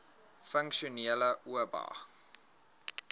funksionele oba